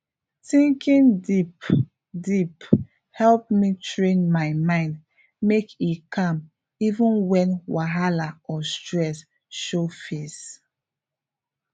thinking deep deepe help me train my mind make e calm even when whahala or stress show face